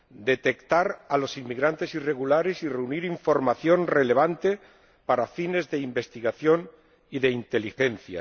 detectar a los inmigrantes irregulares y reunir información relevante para fines de investigación y de inteligencia